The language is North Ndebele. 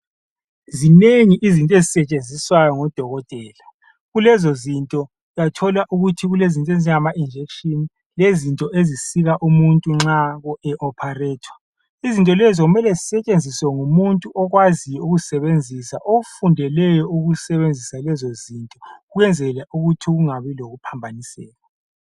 Zinengi izinto ezisetshenziswayo ngodokotela. Kulezo zinto uyathola ukuthi kulezinto ezinjengama injection. Lezinto ezisika umuntu nxa e opharethwa . Izinto lezo kumele zisetshenziwe ngumuntu okwaziyo ukuzisebenzisa. Ofundeleyo ukusebenzisa lezo zinto kwenzeke ukuthi kungabi lokuphambaniseka.